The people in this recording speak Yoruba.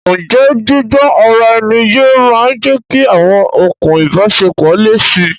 Ǹjẹ́ gbígbó ara ẹni yé máa ń jẹ́kí awọn okùn ìbáṣepọ̀ le si?